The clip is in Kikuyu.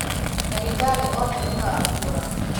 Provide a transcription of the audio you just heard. ndagītarī othe nīmakua.